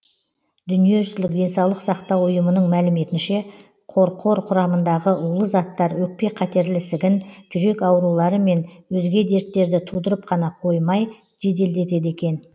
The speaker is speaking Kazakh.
дүниежүзілік денсаулық сақтау ұйымының мәліметінше қорқор құрамындағы улы заттар өкпе қатерлі ісігін жүрек аурулары мен өзге дерттерді тудырып қана қоймай жеделдетеді екен